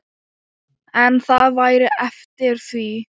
En það væri eftir því.